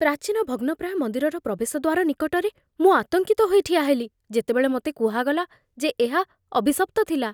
ପ୍ରାଚୀନ ଭଗ୍ନପ୍ରାୟ ମନ୍ଦିରର ପ୍ରବେଶ ଦ୍ୱାର ନିକଟରେ ମୁଁ ଆତଙ୍କିତ ହୋଇ ଠିଆହେଲି ଯେତେବେଳେ ମୋତେ କୁହାଗଲା ଯେ ଏହା ଅଭିଶପ୍ତ ଥିଲା।